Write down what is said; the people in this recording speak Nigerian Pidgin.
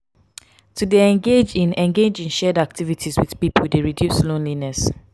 to de engage in engage in shared activities with pipo de reduce loneliness